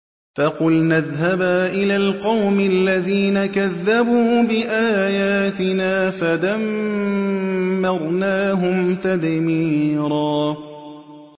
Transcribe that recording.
فَقُلْنَا اذْهَبَا إِلَى الْقَوْمِ الَّذِينَ كَذَّبُوا بِآيَاتِنَا فَدَمَّرْنَاهُمْ تَدْمِيرًا